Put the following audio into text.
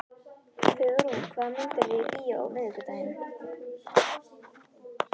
Hugrún, hvaða myndir eru í bíó á miðvikudaginn?